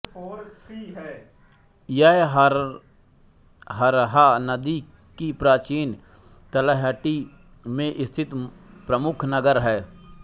यह हरहा नदी की प्राचीन तलहटी में स्थित प्रमुख नगर है